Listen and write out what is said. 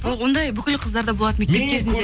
оңдай бүкіл қыздарда болады мектеп кезінде